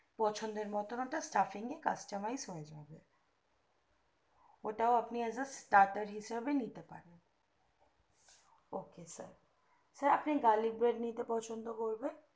পছন্দের মতো একটা safing customize হয়ে যাবে ওটাও আপনি as are Tatar হিসাবে নিতে পারেন ok sir sir আপনি garlic bread নিতে পছন্দ করবেন